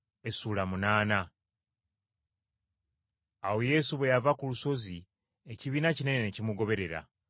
Awo Yesu bwe yava ku lusozi ekibiina kinene ne kimugoberera.